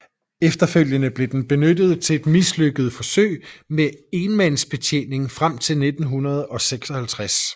Efterfølgende blev den benyttet til et mislykket forsøg med enmandsbetjening frem til 1956